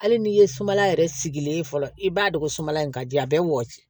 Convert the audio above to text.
Hali n'i ye sumala yɛrɛ sigilen ye fɔlɔ i b'a dɔn ko sumaya in ka di a bɛ wɔsi